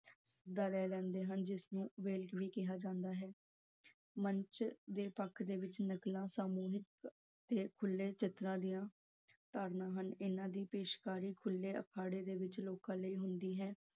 ਸੱਦਾ ਲੈ ਲੈਂਦੀ ਹਨ, ਜਿਸਨੂੰ ਵੇਲ ਵੀ ਕਿਹਾ ਜਾਂਦਾ ਹੈ। ਮੰਚ ਦੇ ਪੱਖ ਦੇ ਵਿੱਚ ਨਕਲਾਂ ਸਮੂਹਿਕ ਤੇ ਖੁੱਲੇ ਚਿੱਤਰਾਂ ਦੀਆਂ ਧਾਰਨਾ ਹਨ ਇਹਨਾਂ ਦੀ ਪੇਸ਼ਕਾਰੀ ਖੁੱਲੇ ਅਖਾੜੇ ਦੇ ਵਿੱਚ ਲੋਕਾਂ ਲਈ ਹੁੰਦੀ ਹੈ।